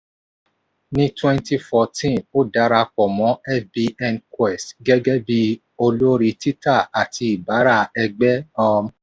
ní 2014 ó darapọ̀ mọ́ fbnquest gẹ́gẹ́ bí olórí tita àti ìbárà-ẹgbẹ́. um